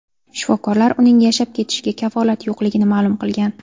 Shifokorlar uning yashab ketishiga kafolat yo‘qligini ma’lum qilgan.